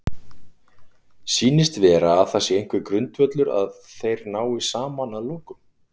Sýnist vera að það sé einhver grundvöllur að þeir nái saman að lokum?